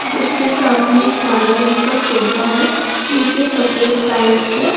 उसके सामने काला रंग का सोफा है नीचे सफेद टाइल्स है।